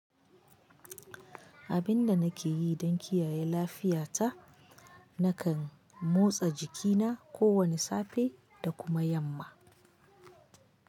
Abin da nake yi don kiyaye lafiyata, nakan motsa jikina kowane safe da kuma yamma.